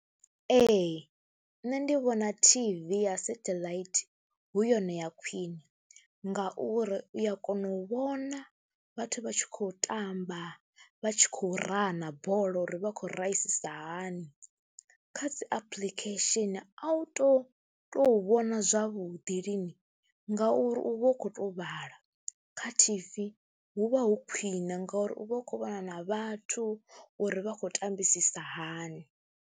Ee, nṋe ndi vhona T_V ya satheḽaithi hu yone ya khwine ngauri u ya kona u vhona vhathu vha tshi khou tamba, vha tshi khou raha bola uri vha khou raisi hani, kha dzi apuḽikhesheni a u tou tou vhona zwavhuḓi lini ngauri u vha u khou to vhala. Kha T_V hu vha hu khwine ngauri u vha u khou vhona na vhathu uri vha khou tambisa hani.